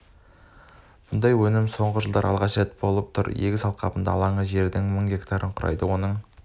бұндай өнім соңғы жылда алғаш рет болып тұр егіс алқабының алаңы жердің мың гектарын құрайды оның